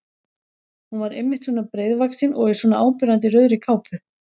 Hún var einmitt svona breiðvaxin og í svona áberandi rauðri kápu!